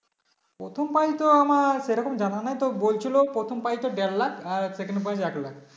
প্রথম Prize তো আমার সেরকম জানা নাই তো বলছিলো প্রথম prize টা দেড় লাখ আর second prize এক লাখ